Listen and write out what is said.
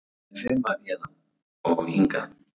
Hvernig fer maður héðan. og hingað??